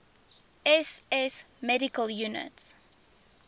ss medical units